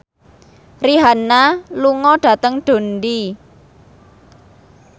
Rihanna lunga dhateng Dundee